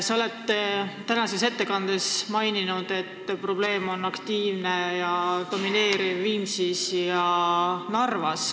Sa oled tänases ettekandes maininud, et probleem on aktiivne ja domineeriv Viimsis ja Narvas.